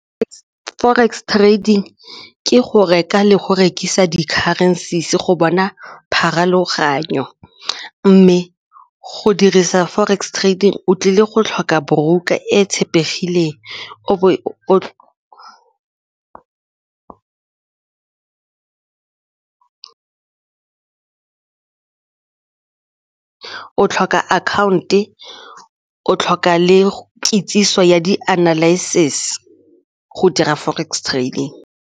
Forex trading ke go reka le go rekisa di-currencies go bona pharologanyo mme go dirisa forex trading o tlile go tlhoka broker e tshepegileng o tlhoka account-e, o tlhoka le kitsiso ya di-analysis go dira forex trading.